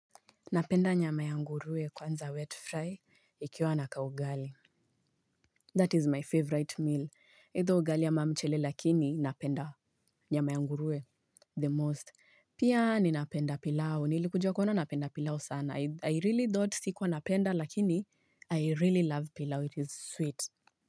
Napenda nyama ya nguruwe kwanza wet fry, ikiwa na kaugali. That is my favourite meal. Either ugali ama mchele, lakini napenda nyama ya nguruwe the most. Pia ninapenda pilau. Nilikuja kuona napenda pilau sana. I really thought sikuwa napenda, lakini I really love pilau. It is sweet.